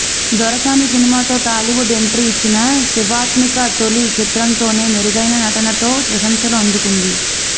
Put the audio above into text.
దొరసాని సినిమాతో టాలీవుడ్ ఎంట్రీ ఇచ్చిన శివాత్మిక తొలి చిత్రంతోనే మెరుగైన నటనతో ప్రశంసలు అందుకుంది